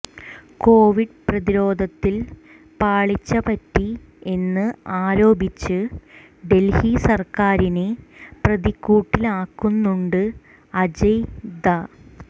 Covid പ്രതിരോധത്തിൽ പാളിച്ചപറ്റി എന്ന് ആരോപിച്ച് ഡൽഹി സർക്കാരിനെ പ്രതിക്കൂട്ടിലാക്കുന്നുണ്ട് അജയ് ഝാ